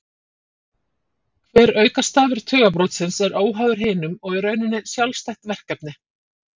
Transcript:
Hver aukastafur tugabrotsins er óháður hinum og í rauninni sjálfstætt verkefni.